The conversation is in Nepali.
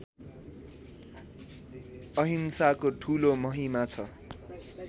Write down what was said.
अहिंसाको ठूलो महिमा छ